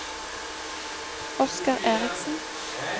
Oskar Erichsen